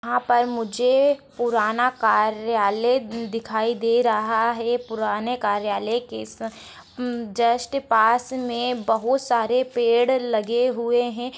यहा पर मुझे पुराना कार-यालय दिखाई दे रहा है पुराने कार्यालय के स जस्ट पास मे बहुत सारे पेड़ लगे हुए है।